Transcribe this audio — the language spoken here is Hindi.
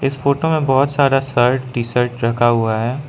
इस फोटो में बहोत सारा शर्ट टी शर्ट रखा हुआ है।